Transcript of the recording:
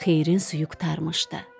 Xeyrin suyu qurtarmışdı.